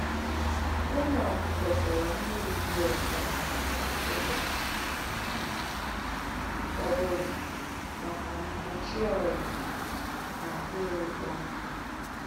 Ụmụ ọkụkọ chọrọ mmiri dị ọcha ụbọchị ọbụla maka mgbochi ọrịa na akpịrị ịkpọ nkụ